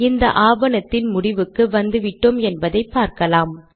இந்த ஆவணத்தின் முடிவுக்கு வந்துவிட்டோம் என்பதை பார்க்கலாம்